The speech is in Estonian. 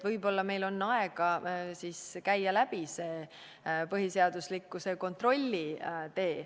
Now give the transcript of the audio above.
Võib-olla on meil aega käia läbi see põhiseaduslikkuse kontrolli tee.